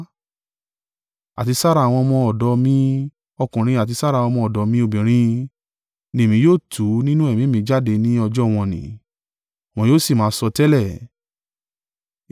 àti sára àwọn ọmọ ọ̀dọ̀ mi ọkùnrin àti sára àwọn ọmọ ọ̀dọ̀ mi obìnrin, ni Èmi yóò tú nínú Ẹ̀mí mi jáde ni ọjọ́ wọ̀n-ọn-nì: wọn yóò sì máa sọtẹ́lẹ̀.